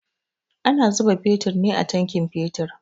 Ana zuba fetur ne a tankin fetur